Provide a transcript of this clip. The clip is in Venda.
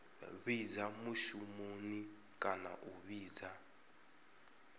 fhidza mushumoni kana a fhidza